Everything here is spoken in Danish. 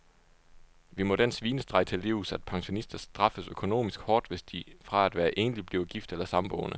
Vi må den svinestreg til livs, at pensionister straffes økonomisk hårdt, hvis de fra at være enlig bliver gift eller samboende.